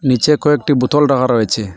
নীচে কয়েকটি বোতল রাখা রয়েছে।